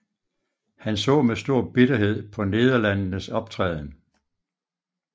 Han så med stor bitterhed på Nederlandenes optræden